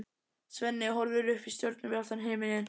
Svenni horfir upp í stjörnubjartan himininn.